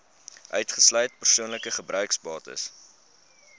uitgesluit persoonlike gebruiksbates